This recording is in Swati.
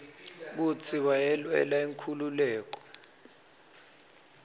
kutsi wayelwela inkhululeko